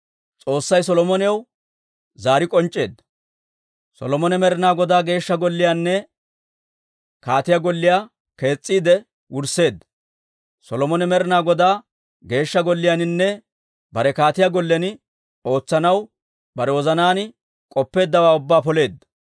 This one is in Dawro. Solomone Med'inaa Godaa Geeshsha Golliyaanne kaatiyaa golliyaa kees's'iide wursseedda; Solomone Med'inaa Godaa Geeshsha Golliyaaninne bare kaatiyaa gollen ootsanaw bare wozanaan k'oppeeddawaa ubbaa poleedda.